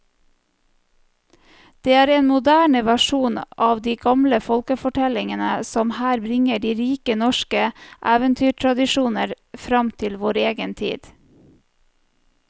Det er en moderne versjon av de gamle folkefortellingene som her bringer de rike norske eventyrtradisjoner fram til vår egen tid.